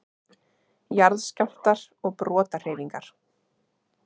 Jarðskjálftar og brotahreyfingar